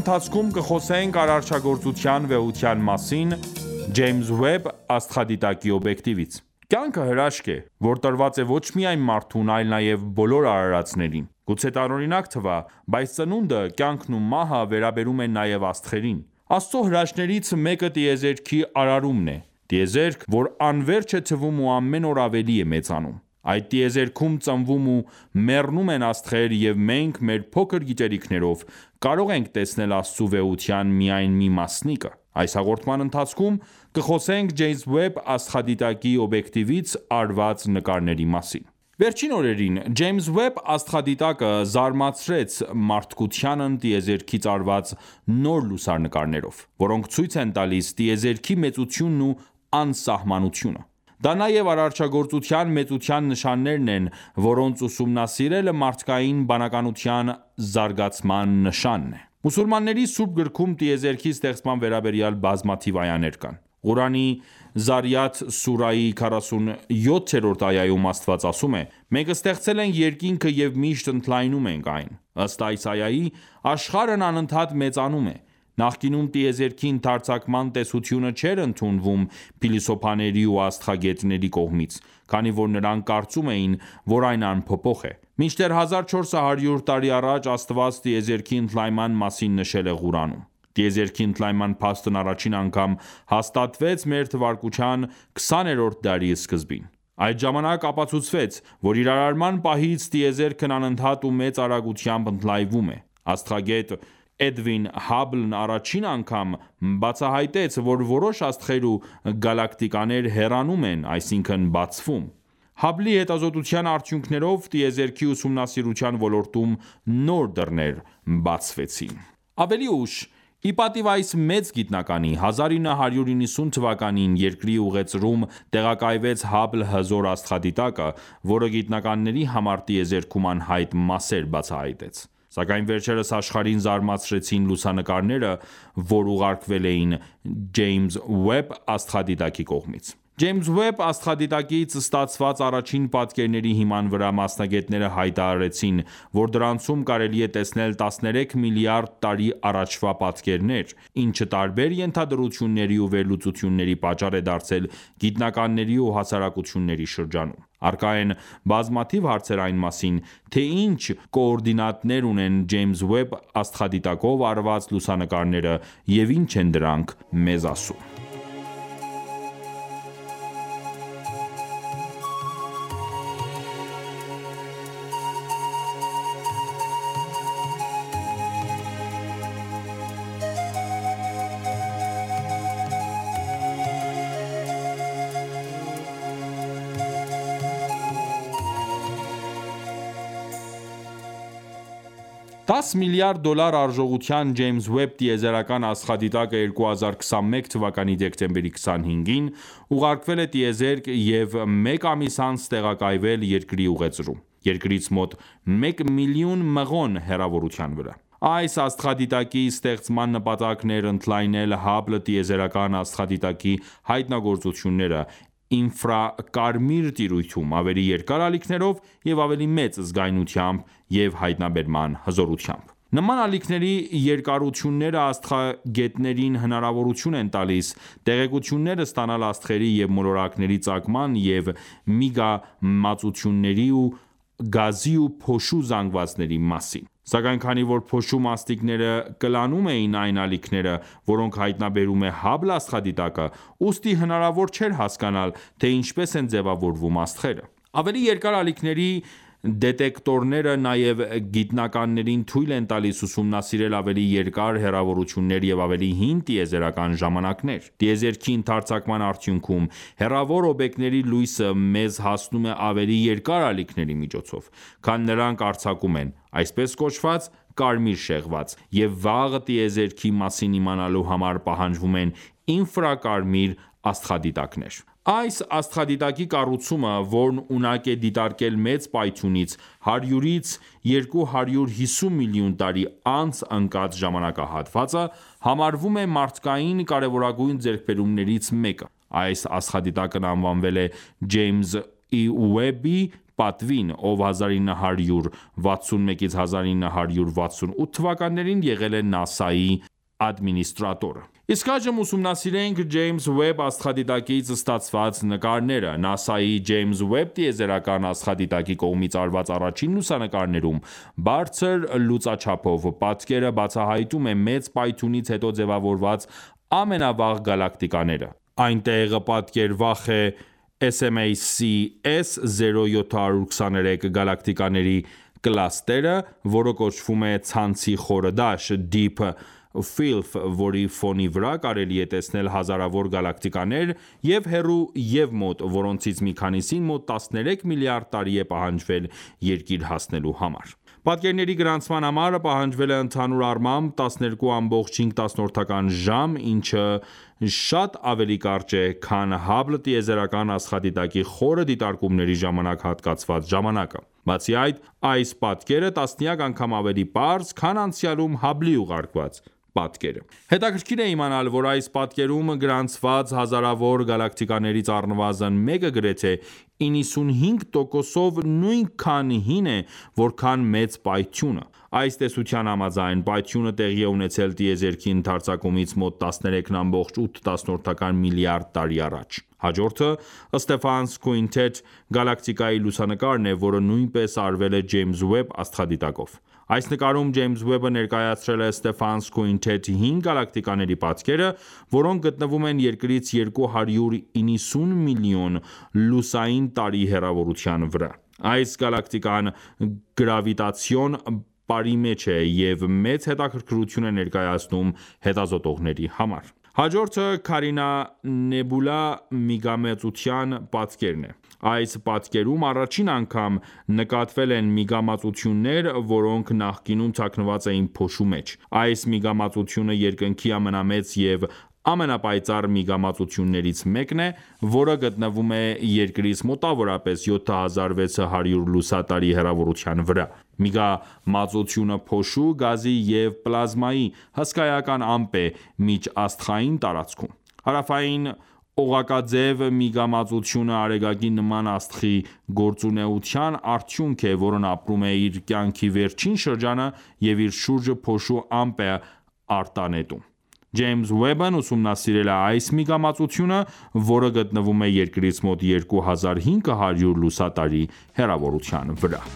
ընթացքում կխոսենք արարչագործության վեհության մասին՝ Ջեյմս Ուեբ աստղադիտակի օբյեկտիվից: Կյանքը հրաշք է, որ տրված է ոչ միայն մարդուն, այլ նաև բոլոր արարածներին: Գուցե տարօրինակ թվա, բայց ծնունդը, կյանքն ու մահը վերաբերում են նաև աստղերին: Աստծու հրաշքներից մեկը տիեզերքի արարումն է: Տիեզերք որ անվերջ է թվում ու ամեն օր ավելի է մեծանում: Այդ տիեզերքում ծնվում ու մեռնում են աստղեր և մենք, մեր փոքր գիտելիքիներով, կարող ենք տեսնել Աստծու վեհության միայն մի մասնիկը: Այս հաղորդման ընթացքում կխոսենք Ջեյմս Ուեբ աստղադիտակի օբյեկտվից արված նկարների մասին: Վերջին օրերին Ջեյմս Ուեբ աստղադիտակը զարմացրեց մարդկությանն տիեզերքից արված նոր լուսանկարներով, որոնք ցույց են տալիս տիեզերքի մեծությունն ու անսահմանությունը: Դա նաև արարաչագործության մեծության նշաններն են, որոնց ուսումնասիրելը մարդկային բանականության զարգացման նշան է: Մուսուլմանների սուրբ գրքում տեիզերքի ստեղծման վերաբերյալ բազմաթիվ այաներ կան: Ղուրանի Զարիաթ սուրայի 47-րդ այայում Աստված ասում է. «Մենք ստեղծել ենք երկինքը և միշտ ընդլայնում ենք այն»։ Ըստ այս այայի, աշխարհն անընդհատ մեծանում է: Նախկինում տիեզերքի ընդարձակման տեսությունը չէր ընդունվում փիլիսոփաների ու աստղագետների կողմից, քանի որ նրանք կարծում էին, որ այն անփոփոխ է: Մինչդեռ 1400 տարի առաջ, Աստված տիեզերքի ընդլայնման մասին նշել է Ղուրանում: Տիեզերքի ընդլայնման փաստն առաջին անգամ հաստատվեց մ.թ. 20-րդ դարի սկզբին: Այդ ժամանակ ապացուցվեց, որ իր արարման պահից, տիեզերքն անընդհատ ու մեծ արագությամբ ընդլայնվում է: Աստղագետ Էդվին Հաբլն առաջին անգամ բացահայտեց, որ որոշ աստղեր ու գալակտիկաներ հեռանում են, այսինքն՝ բացվում: Հաբլի հետազոտության արդյունքներով, տիեզերքի ուսումնասիրության ոլորտում նոր դռներ բացվեցին: Ավելի ուշ, ի պատիվ այս մեծ գիտնականի, 1990թ. երկրի ուղեծրում տեղակայվեց Հաբլ հզոր աստղադիտակը, որը գիտնականների համար տիեզերքում անհայտ մասեր բացահայտեց: Սակայն վերջերս աշխարհին զարմացրեցին լուսանկարները, որ ուղարկվել էին Ջեյսմ Ուեբ աստղադիտակի կողմից: Ջեյսմ Ուեբ աստղադիտակից ստացված առաջին պատկերների հիման վրա մասնագետները հայտարարեցին, որ դրանցում կարելի է տեսնել 13 միլիարդ տարի առաջվա պատկերներ, ինչը տարբեր ենթադրությունների ու վերլուծությունների պատճառ է դարձել գիտնականների ու հասարակությունների շրջանում: Առկա են բազմաթիվ հարցեր այն մասին, թե ինչ կոորդինատներ ունեն Ջեյմս Ուեբ ստղադիտակով արված լուսանկարները և ինչ են դրանք մեզ ասում: 10 միլիարդ դոլար արժողությամբ Ջեյմս Ուեբ տիեզերական աստղադիտակը 2021 թվականի դեկտեմբերի 25-ին ուղարկվել է տիեզերք և մեկ ամիս անց տեղակայվել Երկրի ուղեծրում, Երկրից մոտ մեկ միլիոն մղոն հեռավորության վրա: Այս աստղադիտակի ստեղծման նպատակն էր ընդլայնել Hubble տիեզերական աստղադիտակի հայտնագործությունները ինֆրակարմիր տիրույթում, ավելի երկար ալիքներով և ավելի մեծ զգայունությամբ և հայտնաբերման հզորությամբ: Նման ալիքների երկարությունները աստղագետներին հնարավորություն են տալիս տեղեկություններ ստանալ աստղերի և մոլորակների ծագման և միգամածությունների և գազի ու փոշու զանգվածների մասին: Սակայն քանի որ փոշու մասնիկները կլանում էին այն ալիքները, որոնք հայտնաբերում է Հաբլ աստղադիտակը, ուստի հնարավոր չէր հասկանալ, թե ինչպես են ձևավորվում աստղերը: Ավելի երկար ալիքների դետեկտորները նաև գիտնականներին թույլ են տալիս ուսումնասիրել ավելի երկար հեռավորություններ և ավելի հին տիեզերական ժամանակներ: Տիեզերքի ընդարձակման արդյունքում հեռավոր օբյեկտների լույսը մեզ հասնում է ավելի երկար ալիքների միջոցով, քան նրանք արձակում են (այսպես կոչված՝ կարմիր շեղված), և վաղ տիեզերքի մասին իմանալու համար պահանջվում են ինֆրակարմիր աստղադիտակներ: Այս աստղադիտակի կառուցումը, որն ունակ է դիտարկել Մեծ պայթյունից 100-ից 250 միլիոն տարի անց ընկած ժամանակահատվածը, համարվում է մարդկային կարևորագույն ձեռքբերումներից մեկը։ Այս աստղադիտակն անվանվել է Ջեյմս Ի. Ուեբի պատվին, ով 1961-1968 թվականներին եղել է ՆԱՍԱ-ի ադմինիստրատորը։ Իսկ այժմ ուսումնասիրենք Ջեյսմ Ուեբ աստղադիտակից ստացված նկարները։ NASA-ի Ջեյմս Ուեբ տիեզերական աստղադիտակի կողմից արված առաջին լուսանկարում բարձր լուծաչափով պատկերը բացահայտում է Մեծ պայթյունից հետո ձևավորված ամենավաղ գալակտիկաները:Այնտեղ պատկերվախ է SMACS 0723 գալակտիկաների կլաստերը, որը կոչվում է «Ցանցի խորը դաշտ» (DEEP FIELF), որի ֆոնի վրա կարելի է տեսնել հազարավոր գալակտիկաներ և՛ հեռու, և՛ մոտ, որոնցից մի քանիսին մոտ 13 միլիարդ տարի է պահանջվել Երկիր հասնելու համար: Պատկերների գրանցման համար պահանջվել է ընդհանուր առմամբ 12,5 ժամ, ինչը շատ ավելի կարճ է, քան Hubble տիեզերական աստղադիտակի խորը դիտարկումների ժամանակ հատկացված ժամանակը: Բացի այդ, այս պատկերը տասնյակ անգամ ավելի պարզ է, քան անցյալում Հաբլի ուղարկած պատկերը: Հետաքրքիր է իմանալ, որ այս պատկերում գրանցված հազարավոր գալակտիկաներից առնվազն մեկը գրեթե 95%-ով նույնքան հին է, որքան Մեծ պայթյունը: Այս տեսության համաձայն՝ պայթյունը տեղի է ունեցել տիեզերքի ընդարձակումից մոտ 13,8 միլիարդ տարի առաջ։ Հաջորդը Stephan's Quintet գալակտիկայի լուսանկարն է, որը նույնպես արվել է Ջեյմս Ուեբ աստղադիտակով: Այս նկարում Ջեյմս Ուեբը ներկայացրել է Stephan's Quintet հինգ գալակտիկաների պատկերը, որոնք գտնվում են Երկրից 290 միլիոն լուսային տարի հեռավորության վրա: Այս գալակտիկան գրավիտացիոն պարի մեջ է և, մեծ հետաքրքրություն է ներկայացնում հետազոտողների համար: Հաջորդը Carina Nebula միգամածության պատկերն է: Այս պատկերում առաջին անգամ նկատվել են միգամածություններ, որոնք նախկինում թաքնված էին փոշու մեջ: Այս միգամածությունը երկնքի ամենամեծ և ամենապայծառ միգամածություններից մեկն է, որը գտնվում է Երկրից մոտավորապես 7600 լուսատարի հեռավորության վրա: Միգամածությունը փոշու, գազի և պլազմայի հսկայական ամպ է միջաստղային տարածքում: Հարավային օղակաձև միգամածությունը Արեգակի նման աստղի գործունեության արդյունք է, որն ապրում է իր կյանքի վերջին շրջանը և իր շուրջը փոշու ամպ է արտանետում: Ջեյմս Ուեբն ուսումնասիրել է այս միգամածությունը, որը գտնվում է Երկրից մոտ 2500 լուսատարի հեռավորության վրա։